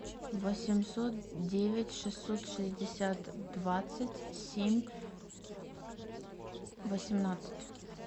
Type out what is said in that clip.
восемьсот девять шестьсот шестьдесят двадцать семь восемнадцать